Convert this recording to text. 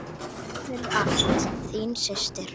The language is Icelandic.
Takk fyrir allt, þín systir.